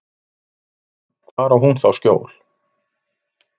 Hvar á hún þá skjól?